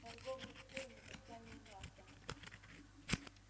торговля шкурами костями и мясом